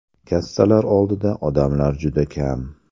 Kassalar oldida odamlar juda kam.